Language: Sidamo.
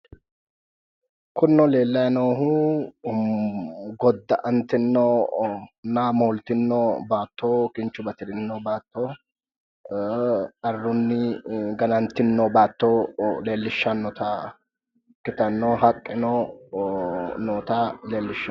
Kunino leelayi noohu goda'anitinoa moolitino baato kinchu batirino baato qarruni gananitino baato leelishanota ikitano haqqeno noota leelishano